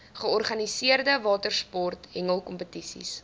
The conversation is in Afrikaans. georganiseerde watersport hengelkompetisies